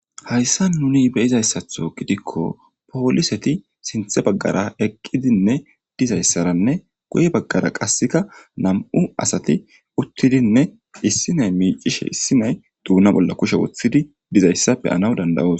Hayssa nuni beyizayssatho gidikko pooliseti sinthe baggara eqqidinne dizayssaranne guye baggara qasseka nam7u asati uttidinne issinay miicishe issi nay duuna bolla kushe woththidi dizayssa be anaw dandawoos.